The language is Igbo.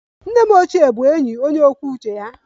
Nne m ochie bụ enyi onye kwuo uche ya